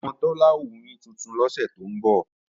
Ọmọ Tọ́lá ó wuyín tuntun lọ́sẹ̀ tó ń bọ̀